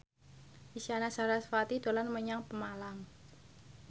Isyana Sarasvati dolan menyang Pemalang